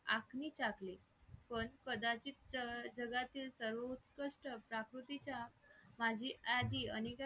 हो ना नक्कीच पाककृति म्हणजे जगातील सर्व उत्कृष्ट गोष्टीच्या कोणत्याही यादीमुळे व्यक्तीस एकनिष्ठ असलेली एक ही